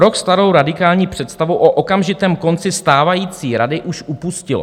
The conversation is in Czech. Rok starou radikální představu o okamžitém konci stávající rady už opustilo.